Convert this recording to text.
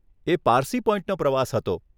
એ પારસી પોઈન્ટનો પ્રવાસ હતો.